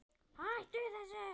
HÆTTU ÞESSU!